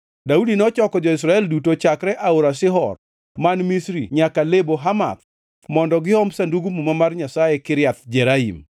Daudi nochoko jo-Israel duto chakre Aora Shihor man Misri nyaka Lebo Hamath mondo giom Sandug Muma mar Nyasaye Kiriath Jearim.